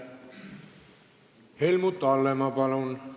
Helmut Hallemaa, palun!